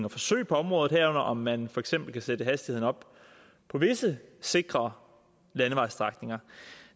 og forsøg på området om man for eksempel kan sætte hastigheden op på visse sikre landevejsstrækninger